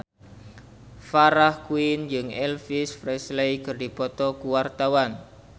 Farah Quinn jeung Elvis Presley keur dipoto ku wartawan